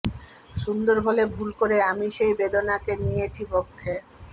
সুন্দর বলে ভুল করে আমি সেই বেদনাকে নিয়েছি বক্ষে